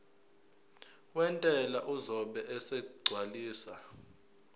wentela uzobe esegcwalisa